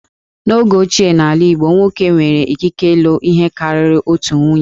N'oge ochie n'ala Igbo, nwoke nwere ikike ilụ ihe karịrị otu nwunye